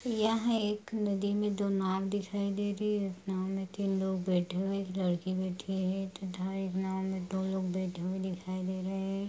यह एक नदी मे दो नाव दिखाई दे रही है नाव मे तीन लोग बैठे हुए एक लड़की बैठी है तथा एक नाव मे दो लोग बैठे हुए दिखाई दे रहे हैं।